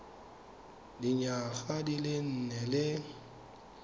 dinyaga di le nne le